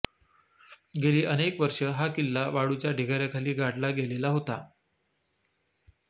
गेली अनेक वर्षे हा किल्ला वाळूच्या ढिगाऱ्याखाली गाडला गेलेला होता